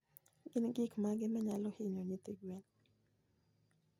Gin gik mage manyalo hinyo nyithi gwen?